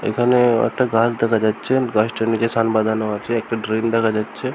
এখানে একটা গাছ দেখা যাচ্ছে গাছটার নিচে সান বাঁধানো আছে একটা ড্রেন দেখা যাচ্ছে ।